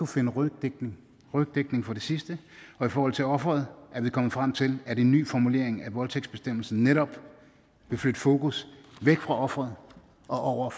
finde rygdækning for det sidste og i forhold til offeret er vi kommet frem til at en ny formulering af voldtægtsbestemmelsen netop vil flytte fokus væk fra offeret og over